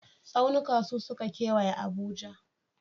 Tsaunuka su suka kewaye Abuja.